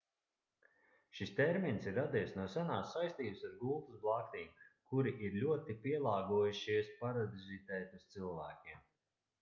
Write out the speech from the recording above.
šis termins ir radies no senās saistības ar gultas blaktīm kuri ir ļoti pielāgojušies parazitēt uz cilvēkiem